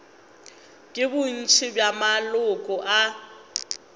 ke bontši bja maloko a